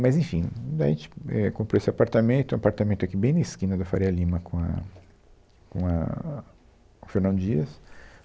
Mas, enfim, daí, a gente, éh, comprou esse apartamento, um apartamento aqui bem na esquina da Faria Lima com a, com a, a, com a Fernão Dias.